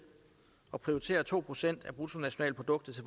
og prioriterer to procent af bruttonationalproduktet til